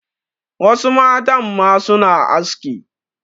Wasu matan ma suna aski.